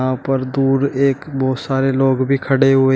यहां पर दूर एक बहोत सारे लोग भी खड़े हुए--